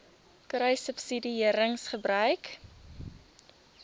kruissubsidiëringgebruik